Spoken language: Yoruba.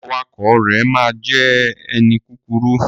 Awakọ̀ rẹ ma jẹ ẹni kúkúrú.